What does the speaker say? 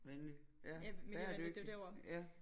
Venlig ja bæredygtig ja